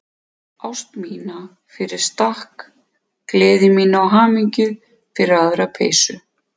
Ást mína fyrir stakk, gleði mína og hamingju fyrir aðra peysu.